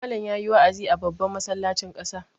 Malam ya yi wa'azi a babban masallacin ƙasa.